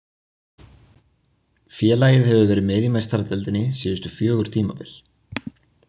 Félagið hefur verið með í Meistaradeildinni síðustu fjögur tímabil.